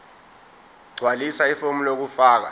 gqwalisa ifomu lokufaka